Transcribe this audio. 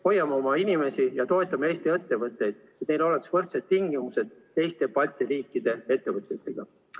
Hoiame oma inimesi ja toetame Eesti ettevõtjaid, et neil oleksid võrdsed tingimused teiste Balti riikide ettevõtjatega.